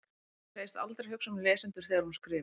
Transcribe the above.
Hún segist aldrei hugsa um lesendur þegar hún skrifi.